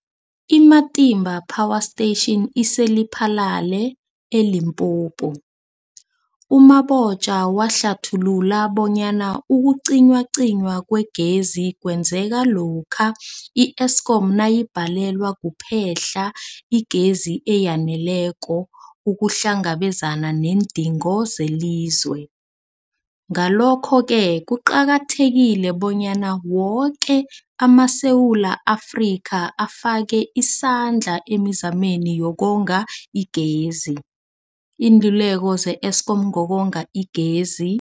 I-Matimba Power Station ise-Lephalale, eLimpopo. U-Mabotja wahlathulula bonyana ukucinywacinywa kwegezi kwenzeka lokha i-Eskom nayibhalelwa kuphe-hla igezi eyaneleko ukuhlangabezana neendingo zelizwe. Ngalokho-ke kuqakathekile bonyana woke amaSewula Afrika afake isandla emizameni yokonga igezi. Iinluleko ze-Eskom ngokonga igezi.